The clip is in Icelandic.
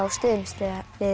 stuðningsliðið